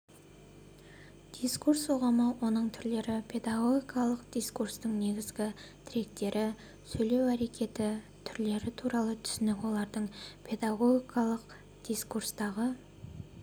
дискурс ұғымы оның түрлері педагогикалық дискурстың негізгі тіректері сөйлеу әрекеті түрлері туралы түсінік олардың педагогикалық дискурстағы